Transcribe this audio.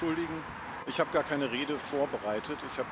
Ich muss mich entschuldigen, ich habe gar keine Rede vorbereitet.